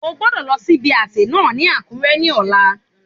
O gbodọ̀ lọ sí ibi àsè náà ní Àkúré ní ọ̀la